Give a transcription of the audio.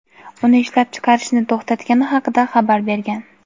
uni ishlab chiqarishni to‘xtatgani haqida xabar bergan.